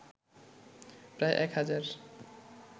প্রায় ১ হাজার